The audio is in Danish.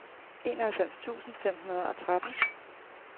enoghalvfems tusind fem hundrede og tretten